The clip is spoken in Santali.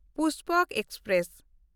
ᱯᱩᱥᱯᱚᱠ ᱮᱠᱥᱯᱨᱮᱥ